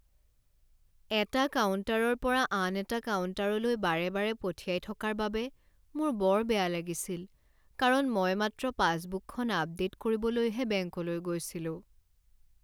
এটা কাউণ্টাৰৰ পৰা আন এটা কাউণ্টাৰলৈ বাৰে বাৰে পঠিয়াই থকাৰ বাবে মোৰ বৰ বেয়া লাগিছিল কাৰণ মই মাত্ৰ পাছবুকখন আপডে'ট কৰিবলৈহে বেংকলৈ গৈছিলোঁ।